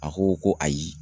A ko ko ayi.